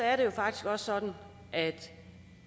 er det faktisk også sådan at